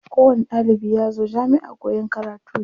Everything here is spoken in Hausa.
Ko wani ɗalibi yazo jamiʼa koyan karatu ne.